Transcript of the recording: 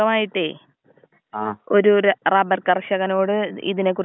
പിന്ന ഒന്ന് ഞാൻ ചോയിക്കട്ട്, ഈ വാതം ഉണ്ടല്ലേ ഇത് എന്ത് കൊണ്ടാണ് വരണത്?